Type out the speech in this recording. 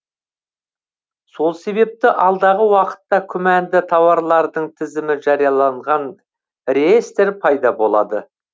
сол себепті алдағы уақытта күмәнді тауарлардың тізімі жарияланған реестр пайда болады